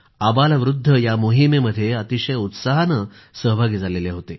अबालवृद्ध या मोहिमेमध्ये अतिशय उत्साहामध्ये सहभागी झाले होते